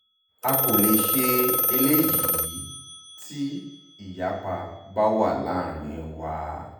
a kò lè ṣe eléyìí tí ìyapa bá wà láàrin wa